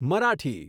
Marathi